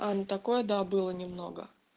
а ну такое да было немного